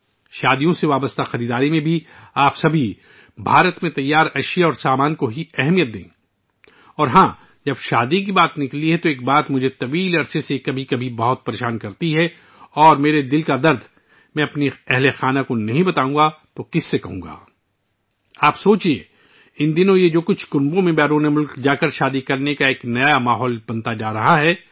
شادیوں کی خریداری کرتے وقت، آپ سب کو صرف بھارت میں بنی مصنوعات کو اہمیت دینی چاہیے اور ہاں، جب سے شادی کا موضوع آیا ہے، ایک بات مجھے کافی عرصے سے پریشان کر رہی ہے... اور اگر میں اپنے دل کا درد اپنے گھر والوں کے سامنے نہ کھولوں تو اور کس سے کروں؟ ذرا غور کریں... ان دنوں کچھ خاندانوں کی طرف سے بیرون ملک جا کر شادیاں کرنے کا ایک نیا ماحول بنایا جا رہا ہے